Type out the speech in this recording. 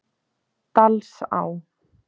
Dalsá